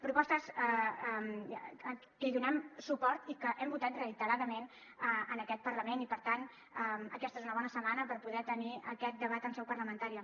propostes que hi donem suport i que hem votat reiteradament en aquest parlament i per tant aquesta és una bona setmana per poder tenir aquest debat en seu parlamentària